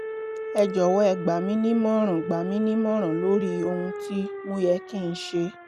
ẹ jọ̀wọ́ ẹ gbà mí nímọ̀ràn gbà mí nímọ̀ràn lórí ohun tí mo yẹ kí n ṣe